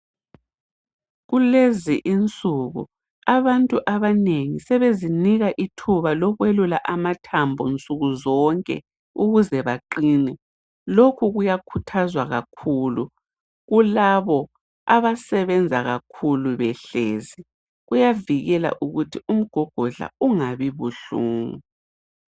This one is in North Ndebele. Kulezi insuku abantu abanengi sebezinika ithuba lokwelula amathambo nsuku zonke ukuze baqine. Lokhu kuyakhuthazwa kakhulu kulabo abasebenza kakhulu behlezi. Kuyavikela ukuthi umgogodla ungabi buhlungu.